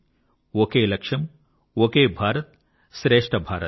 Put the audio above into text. ఒకే లక్ష్యం ఒకే భారత్ శ్రేష్ఠ భారత్